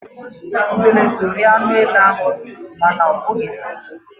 Udele so rie anụ ele ahụ, mana ọ bụghị nnukwu.